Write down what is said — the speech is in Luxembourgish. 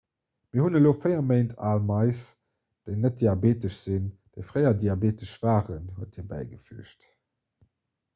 mir hunn elo 4 méint al mais déi net diabeetesch sinn déi fréier diabeetesch waren huet hie bäigefüügt